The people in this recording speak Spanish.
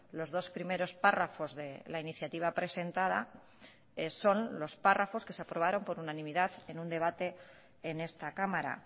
los dos primeros párrafos de la iniciativa presentada son los párrafos que se aprobaron por unanimidad en un debate en esta cámara